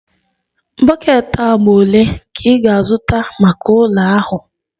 Bọket agba ole ka ị ga-azụta maka ụlọ ahụ?